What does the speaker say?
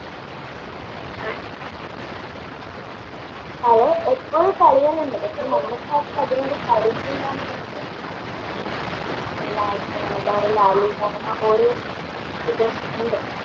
കളികൾ ഉണ്ട് പക്ഷേ നമ്മൾക്ക് ആർക്കും അതിനോട് പരിചയമില്ല എന്നുള്ളത് അങ്ങനെ ഓരോ ഇത് ഉണ്ട്